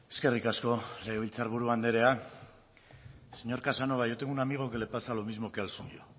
eskerrik asko legebiltzar buru andrea señor casanova yo tengo un amigo que le pasa lo mismo que al suyo